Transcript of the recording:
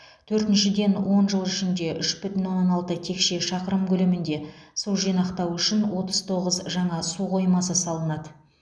төртіншіден он жыл ішінде үш бүтін оннан алты текше шақырым көлемінде су жинақтау үшін отыз тоғыз жаңа су қоймасы салынады